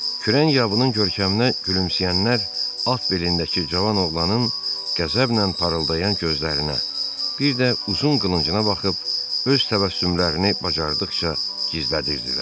Kürən yabının görkəminə gülümsəyənlər at belindəki cavan oğlanın qəzəblə parıldayan gözlərinə, bir də uzun qılıncına baxıb öz təbəssümlərini bacardıqca gizlədirdilər.